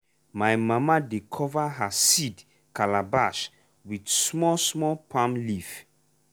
my mama dey cover her seed calabash with small small palm leaf.